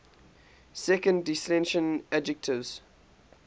second declension adjectives